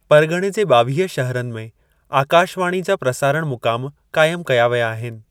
परगि॒णे जे ॿावीह शहरनि में आकाशवाणी जा प्रसारणु मुकामु क़ाइमु कया विया आहिनि।